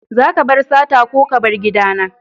Zaka bar sata ko ka bar gida na!